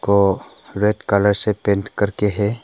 को red colour से paint करके है।